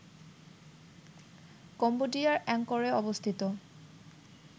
কম্বোডিয়ার অ্যাংকরে অবস্থিত